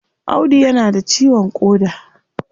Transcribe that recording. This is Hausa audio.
Audu ya na da ciwon koda